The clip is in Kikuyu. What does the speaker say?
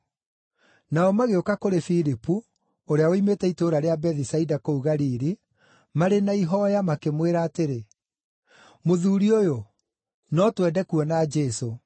Nao magĩũka kũrĩ Filipu, ũrĩa woimĩte itũũra rĩa Bethisaida kũu Galili, marĩ na ihooya, makĩmwĩra atĩrĩ, “Mũthuuri ũyũ, no twende kuona Jesũ.”